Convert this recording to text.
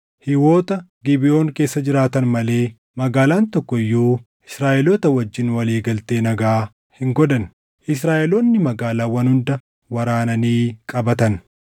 Hiiwota Gibeʼoon keessa jiraatan malee magaalaan tokko iyyuu Israaʼeloota wajjin walii galtee nagaa hin godhanne; Israaʼeloonni magaalaawwan hunda waraananii qabatan.